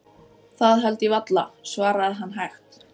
Það held ég varla, svaraði hann hægt.